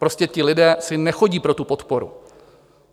Prostě ti lidé si nechodí pro tu podporu.